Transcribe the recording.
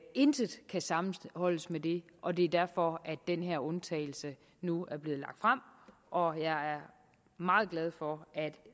intet kan sammenholdes med det og det er derfor at den her undtagelse nu er blevet lagt frem og jeg er meget glad for at